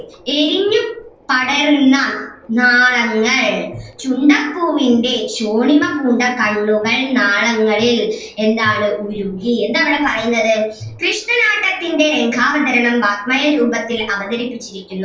എരിഞ്ഞു പടരുന്ന നാളങ്ങൾ ചുണ്ടപ്പൂവിന്റെ ശോണിമ പൂണ്ട കണ്ണുകൾ നാളങ്ങളിൽ എന്താണ് ഉരുകി എന്താണ് ഇവിടെ പറയുന്നത് കൃഷ്ണനാട്ടത്തിൻ്റെ വതരണം വാക്മയരൂപത്തിൽ അവതരിപ്പിച്ചിരിക്കുന്നു.